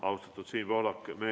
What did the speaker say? Austatud Siim Pohlak!